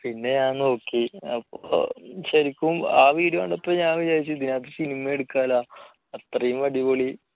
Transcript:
പിന്നെ ഞാൻ നോക്കി ശരിക്കും ആ video കണ്ടപ്പോൾ ഞാൻ വിചാരിച്ചു ഇതിലെ cinema എടുക്കാമല്ലോ അത്രയും അടിപൊളി